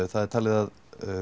það er talið að